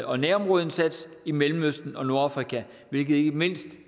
og nærområdeindsats i mellemøsten og nordafrika hvilket ikke mindst